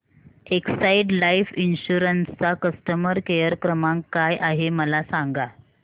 Exide life insurance चा customer care क्रमांक काय आहे मला सांगा